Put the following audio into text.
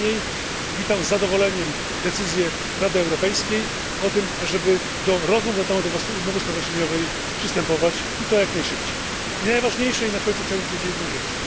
Tym niemniej witam z zadowoleniem decyzję Rady Europejskiej o tym, aby do rozmów na temat umowy stowarzyszeniowej przystępować, i to jak najszybciej. I najważniejsze, na końcu chciałem powiedzieć jedną rzecz.